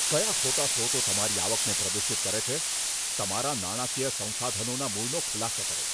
કયા ખોટા સ્રોતો તમારી આવકને પ્રદૂષિત કરે છે? તમારા નાણાકીય સંસાધનોના મૂળનો ખુલાસો કરો.